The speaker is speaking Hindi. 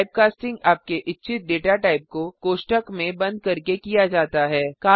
टाइपकास्टिंग आपके इच्छित डेटा टाइप को कोष्ठक में बंद करके किया जाता है